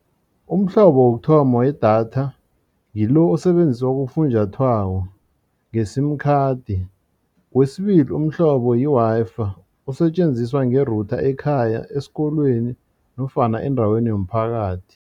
Umhlobo wokuthoma wedatha ngilo osetjenziswa kufunjathwako nge-sim card. Kwesibili umhlobo yi-Wi-Fi osetjenziswa nge router ekhaya esikolweni nofana endaweni yomphakathi.